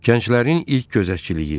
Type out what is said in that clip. Gənclərin ilk gözətçiliyi.